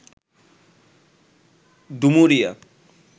Dumuria